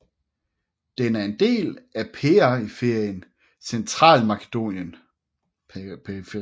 Den er en del af periferien Centralmakedonien